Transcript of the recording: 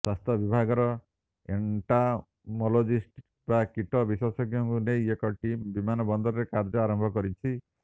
ସ୍ବାସ୍ଥ୍ୟ ବିଭାଗର ଏଣ୍ଟୋମୋଲୋଜିଷ୍ଟ ବା କୀଟ ବିଶେଷଜ୍ଞଙ୍କୁ ନେଇ ଏକ ଟିମ୍ ବିମାନ ବନ୍ଦରରେ କାର୍ଯ୍ୟ ଆରମ୍ଭ କରିଛି